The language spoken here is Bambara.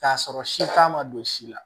K'a sɔrɔ si t'a ma don si la